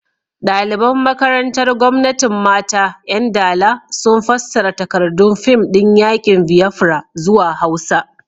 Daliban makarantar Gwamnatin Mata 'Yan Dala sun fassara takardun fim din yakin Biafra zuwa Hausa.